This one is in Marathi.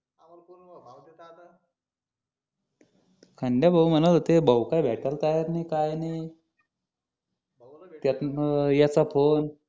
खंड्या भाऊ म्हणत होते भाऊ का भेटायला तयार नाही काय नाही त्यातनं याचा फोन